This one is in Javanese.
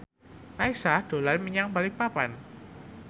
Raisa dolan menyang Balikpapan